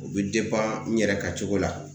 U bɛ n yɛrɛ ka cogo la .